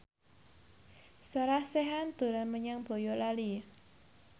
Sarah Sechan dolan menyang Boyolali